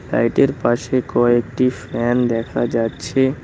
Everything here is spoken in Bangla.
লাইটের পাশে কয়েকটি ফ্যান দেখা যাচ্ছে।